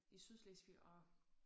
I Sydslesvig og